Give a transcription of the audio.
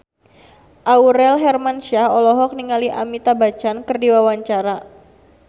Aurel Hermansyah olohok ningali Amitabh Bachchan keur diwawancara